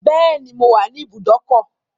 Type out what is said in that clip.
Bẹ́ẹ̀ni, mo wà ní ibùdókọ̀.